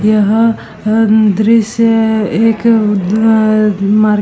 यह अ दृश्य एक अम मार्के --